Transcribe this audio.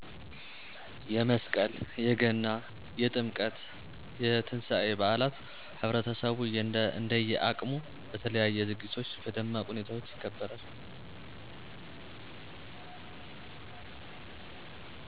የመስቀል :የገና :የጥምቀት :የትንሳኤ በአላት ህብረተሰቡ እንደየ አቅሙ በተለያዩ ዝግጅቶች በደማቅ ሁኔታዎች ይከበራል።